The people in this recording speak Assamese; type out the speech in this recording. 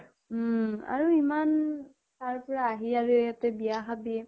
উম । আৰু ইমান তাৰ পৰা আহি আৰু ইয়াতে বিয়া খাবি